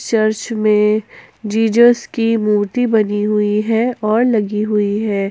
Church में Jesus की मूर्ति बनी हुई है और लगी हुई है।